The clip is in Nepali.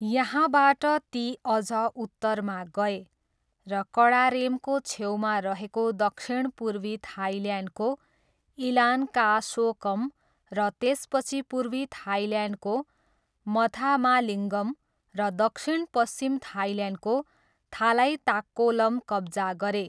यहाँबाट ती अझ उत्तरमा गए र कडारेमको छेउमा रहेको दक्षिणपूर्वी थाइल्यान्डको इलान्कासोकम र त्यसपछि पूर्वी थाइल्यान्डको मथामालिङ्गम र दक्षिणपश्चिम थाइल्यान्डको थालाइताक्कोलम कब्जा गरे।